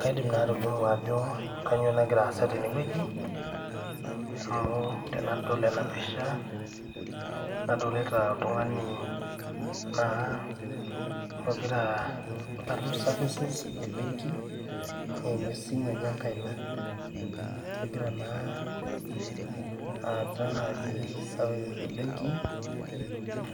Kaidim naa atolimu ajo kanyoo nagiraasa tenewueji amuu tenadol ena pisha nadolita oltung'ani naa ogiraa atum services ebenki eimu esimu enye enkaina, egira naa aata naji  services ebenki